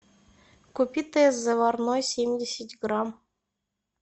купи тесс заварной семьдесят грамм